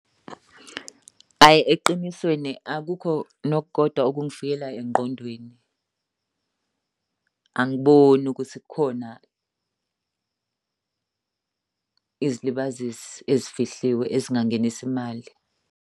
Hhayi eqinisweni akukho nokukodwa okungifikela engqondweni. Angiboni ukuthi kukhona izilibazisi ezifihliwe ezingangenisa imali.